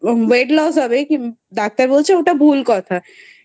Weight loss হবে. কি doctor বলছে ওটা ভুল কথা ।